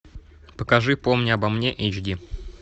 покажи помни обо мне эйч ди